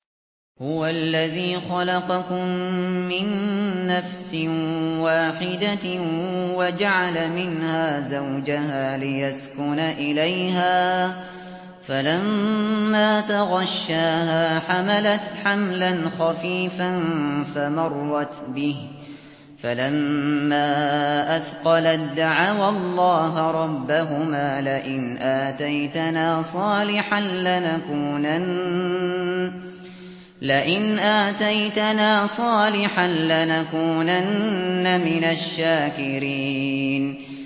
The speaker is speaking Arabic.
۞ هُوَ الَّذِي خَلَقَكُم مِّن نَّفْسٍ وَاحِدَةٍ وَجَعَلَ مِنْهَا زَوْجَهَا لِيَسْكُنَ إِلَيْهَا ۖ فَلَمَّا تَغَشَّاهَا حَمَلَتْ حَمْلًا خَفِيفًا فَمَرَّتْ بِهِ ۖ فَلَمَّا أَثْقَلَت دَّعَوَا اللَّهَ رَبَّهُمَا لَئِنْ آتَيْتَنَا صَالِحًا لَّنَكُونَنَّ مِنَ الشَّاكِرِينَ